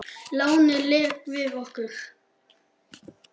Lánið lék við okkur.